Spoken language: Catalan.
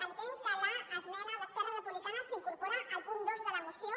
entenc que l’esmena d’esquerra republicana s’incorpora al punt dos de la moció